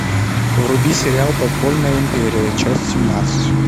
вруби сериал подпольная империя часть семнадцать